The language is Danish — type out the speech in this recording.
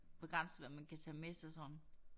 Begrænset hvad man kan tage med sig sådan